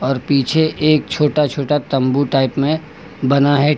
और पीछे एक छोटा छोटा तंबू टाइप में बना है।